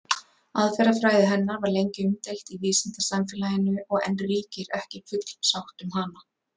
Aðferðafræði hennar var lengi umdeild í vísindasamfélaginu og enn ríkir ekki full sátt um hana.